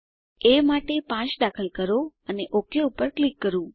ચાલો એ માટે 5 દાખલ કરો અને ઓક પર ક્લિક કરો